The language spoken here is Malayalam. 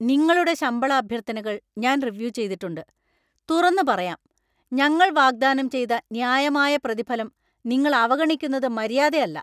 നിങ്ങളുടെ ശമ്പള അഭ്യർത്ഥനകൾ ഞാൻ റിവ്യൂ ചെയ്തിട്ടുണ്ട്, തുറന്നുപറയാം, ഞങ്ങൾ വാഗ്ദാനം ചെയ്ത ന്യായമായ പ്രതിഫലം നിങ്ങൾ അവഗണിക്കുന്നത് മര്യാദയല്ല.